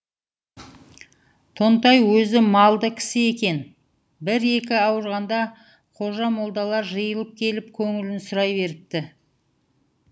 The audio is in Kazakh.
тонтай өзі малды кісі екен бір екі ауырғанда қожа молдалар жиылып келіп көңілін сұрай беріпті